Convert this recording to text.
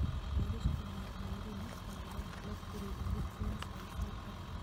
Korus kwong'et Mourinho kongoal klopp urerindet eng 75m